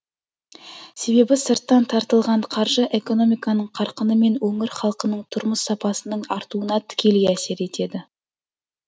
себебі сырттан тартылған қаржы экономиканың қарқыны мен өңір халқының тұрмыс сапасының артуына тікелей әсер етеді